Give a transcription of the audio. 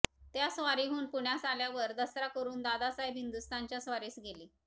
त्या स्वारीहून पुण्यास आल्यावर दसरा करून दादासाहेब हिंदुस्थानच्या स्वारीस गेले